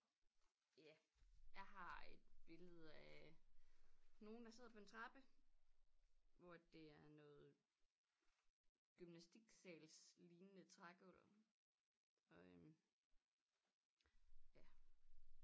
Ja jeg har et billede af nogen der sidder på en trappe hvor at det er noget gymnastiksals lignende trægulv og øh ja